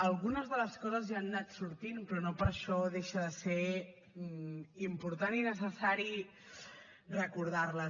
algunes de les coses ja han anat sortint però no per això deixa de ser important i necessari recordar les